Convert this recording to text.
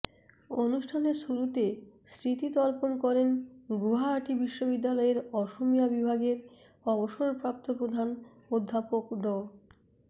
অনুষ্ঠানের শুরুতে স্মৃতি তর্পণ করেন গুয়াহাটি বিশ্ববিদ্যালয়ের অসমিয়া বিভাগের অবসরপ্ৰাপ্ত প্ৰধান অধ্যাপক ড